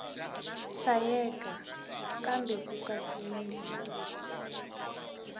hlayeka kambe ku katsiwile na